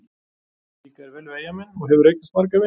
Líkar þér vel við Eyjamenn og hefurðu eignast marga vini?